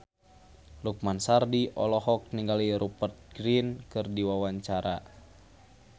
Lukman Sardi olohok ningali Rupert Grin keur diwawancara